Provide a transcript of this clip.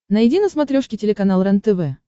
найди на смотрешке телеканал рентв